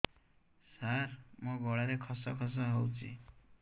ସାର ମୋ ଗଳାରେ ଖସ ଖସ ହଉଚି